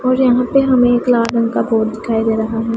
और यहां पे हमें एक लाल रंग का बोट दिखाई दे रहा हैं।